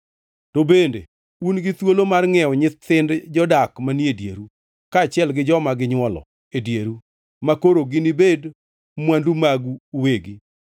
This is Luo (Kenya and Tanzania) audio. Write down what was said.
To bende un gi thuolo mar ngʼiewo nyithind jodak manie dieru, kaachiel gi joma ginywolo e dieru, makoro ginibed mwandu magu uwegi,